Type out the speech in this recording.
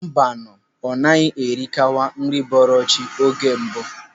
Mbanụ, ọ naghị erikawa nri bọrọ chi oge mbụ.